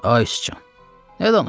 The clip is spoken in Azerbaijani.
Ay sıçan, nə danışırsan?